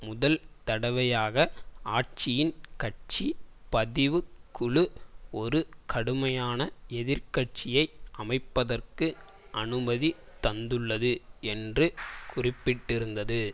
முதல் தடவையாக ஆட்சியின் கட்சி பதிவுக் குழு ஒரு கடுமையான எதிர் கட்சியை அமைப்பதற்கு அனுமதி தந்துள்ளது என்று குறிப்பிட்டிருந்தது